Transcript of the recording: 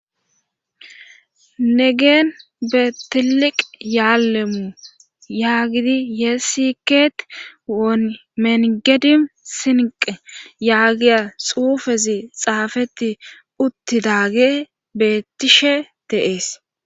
Negeen beetiliq yaallemu yaagidi yeesikeet won menigedim sinqe yaagiya xuufezi xaafetti uttidaage bettishe teees